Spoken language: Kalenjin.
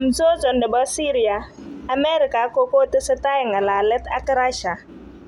Mzozo ne bo Syria:Amerika ko kotese tai ng'alalet ak Russia.